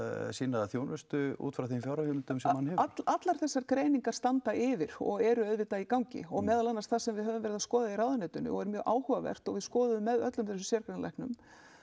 sína þjónustu út frá þeim fjárheimildum sem hann hefur allar þessar greiningar standa yfir og eru auðvitað í gangi og eru það sem við höfum verið að skoða í ráðuneytinu og er mjög áhugavert og við skoðuðum með öllum þessum sérgreinalæknum